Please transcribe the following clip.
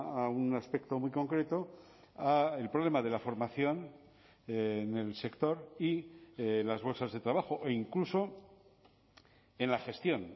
a un aspecto muy concreto al problema de la formación en el sector y las bolsas de trabajo o incluso en la gestión